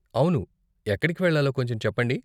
అవును, ఎక్కడికి వెళ్ళాలో కొంచెం చెప్పండి.